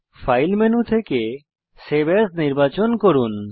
file menu থেকে save as নির্বাচন করুন